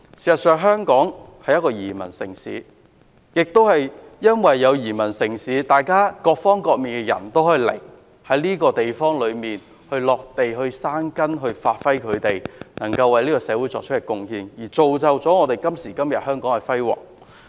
事實上，香港是一個移民城市，正因如此，世界各地的人也可以前來，在這個地方落地生根，發揮他們所長，為這個社會作出貢獻，造就香港今時今日的輝煌。